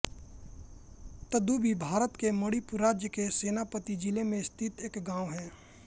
तदुबी भारत के मणिपुर राज्य के सेनापति ज़िले में स्थित एक गाँव है